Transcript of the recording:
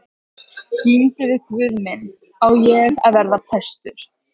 Glímdi við guð minn: Á ég að verða prestur?